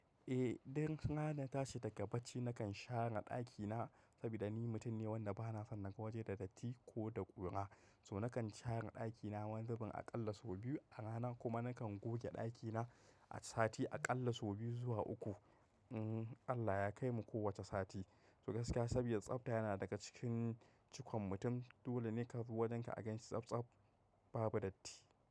Eh, dan haka ina ta shi daga bacci nakan share ɗakina saboda ni mutum ne wanda ba na son naga waje da datti ko da ƙura. So nakan share ɗakina wani zubinaƙalla sau biyu a rana kuma nakan goge ɗakina sati aƙalla sau biyu zuwa uku. Allah ya kaimu kowace sati. To gaskiya saboda tsabta yana daga cikin cikon mutum. Dole ne ka zo wajen ka aganshi tsabtsab babu datti.